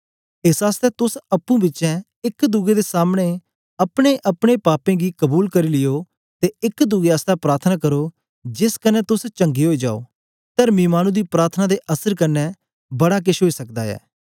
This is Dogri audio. एस आसतै तोस अप्पुं बिचें एक दुए दे सामने अपनेअपने पापें गी कबूल कर लियो ते एक दुए आसतै प्रार्थना करो जेस कन्ने तोस चंगे ओई जाओ तर्मी मानु दी प्रार्थना दे असर कन्ने बड़ा केछ ओई सकदा ऐ